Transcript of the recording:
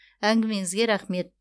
әңгімеңізге рахмет